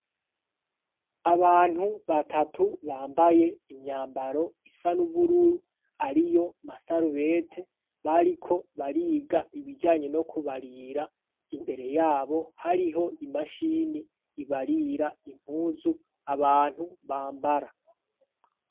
Abantu batatu bambaye imyambaro isa n'ubururu ari yo masarubete bariko bariga ibijanye no kubarira imbere yabo hariho imashini ibarira impuzu abantu bambara.